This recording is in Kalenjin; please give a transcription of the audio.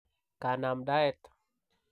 kanamdaet.